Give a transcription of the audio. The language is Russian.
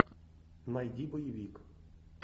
найди боевик